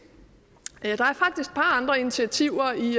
par andre initiativer i